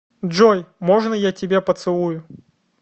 джой можно я тебя поцелую